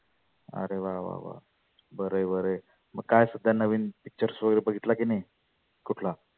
आरे वा वा वा बरंं आहे बरंंआहे. मग काय सध्या नविन pictures वगैरे बघितला की नाही कुठला?